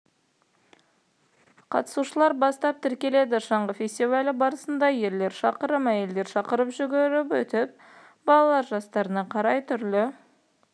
қатысушылар бастап тіркеледі шаңғы фестивалі барысында ерлер шақырым әйелдер шақырым жүріп өтеді балалар жастарына қарай түрлі